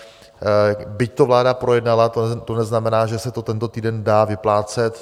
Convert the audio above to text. Byť to vláda projednala, to neznamená, že se to tento týden dá vyplácet.